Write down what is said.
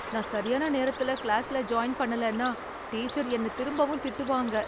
நான் சரியான நேரத்துல கிளாஸ்ல ஜாயின் பண்ணலன்னா, டீச்சர் என்ன திரும்பவும் திட்டுவாங்க.